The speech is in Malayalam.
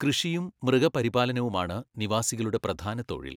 കൃഷിയും മൃഗപരിപാലനവുമാണ് നിവാസികളുടെ പ്രധാന തൊഴിൽ.